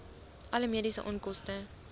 alle mediese onkoste